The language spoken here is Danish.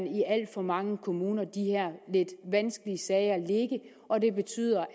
i alt for mange kommuner de her lidt vanskelige sager ligge og det betyder